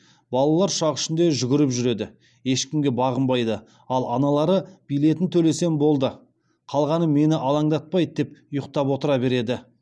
балалар ұшақ ішінде жүгіріп жүреді ешкімге бағынбайды ал аналары билетін төлесем болды қалғаны мені алаңдатпайды деп ұйықтап отыра береді